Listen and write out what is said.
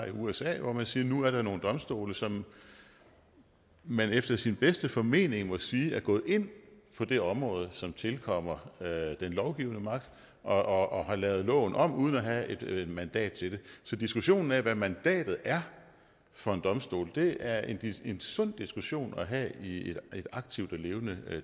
i usa hvor man siger at nu er der nogle domstole som man efter sin bedste formening må sige er gået ind på det område som tilkommer den lovgivende magt og har lavet loven om uden at have et mandat til det så diskussionen af hvad mandatet er for en domstol er en en sund diskussion at have i et aktivt og levende